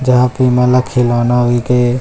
जहाँ पे ये मन ला खिलौना देके--